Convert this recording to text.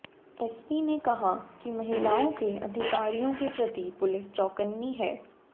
SP ने कहा कि महिलाओं के अधिकारियों के प्रति पुलिस चौकन्नी है